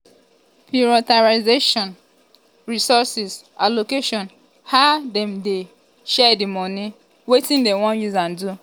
prioritization resource allocation how dem dey um share di money money wetin we wan um use am do?